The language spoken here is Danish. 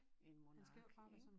En monark ikke